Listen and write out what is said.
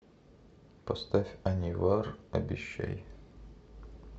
поставь анивар обещай